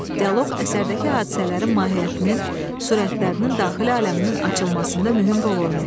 Dialoq əsərdəki hadisələrin mahiyyətinin, sürətlərinin, daxili aləminin açılmasında mühüm rol oynayır.